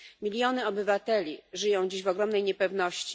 Miliony obywateli żyją dziś w ogromnej niepewności.